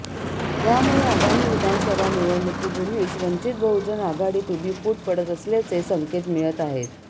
ह्यामुळे आगामी विधानसभा निवडणुकीपूर्वीच वंचित बहुजन आघाडीत उभी फूट पडत असल्याचे संकेत मिळत आहेत